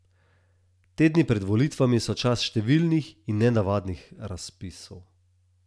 Tedni pred volitvami so čas številnih in nenavadnih razpisov.